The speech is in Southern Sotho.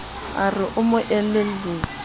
a re o mo elelliswa